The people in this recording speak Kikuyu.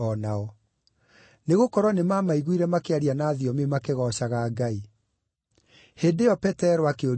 Nĩgũkorwo nĩmamaiguire makĩaria na thiomi makĩgoocaga Ngai. Hĩndĩ ĩyo Petero akĩũria atĩrĩ,